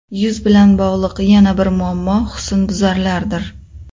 Yuz bilan bog‘liq yana bir muammo husnbuzarlardir.